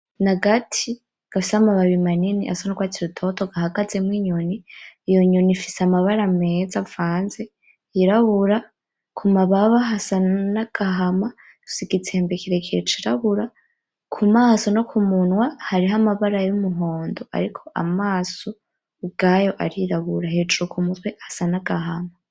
N'agati gafise amababi manini asa n'urwatsi rutoto gahagazemwo akanyoni ; iyo nyoni ifise amabara meza avanze yirabura , kumababa hasa n'agahama ,Ifise igitsembe kirekire c'irabura , kumaso no kumunwa Hariho amabara y'umuhondo ariko amaso ubwayo arirabura hejuru k'umutwe hasa n'agahama.